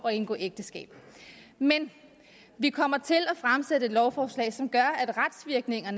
at indgå ægteskab men vi kommer til at fremsætte lovforslag som gør